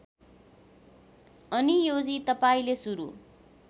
आनियोजी तपाईँले सुरु